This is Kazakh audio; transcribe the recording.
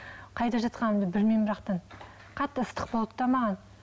қайда жатқанымды білмеймін бірақ та қатты ыстық болды да маған